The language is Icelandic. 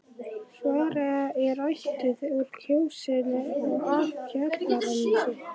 Svava er ættuð úr Kjósinni og af Kjalarnesi.